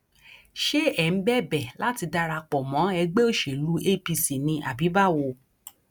ṣé ẹ ń bẹbẹ láti darapọ mọ ẹgbẹ òṣèlú apc ni àbí báwo